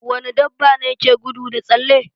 Wani dabbane ke gudu da tsalle?